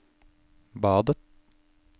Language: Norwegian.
badet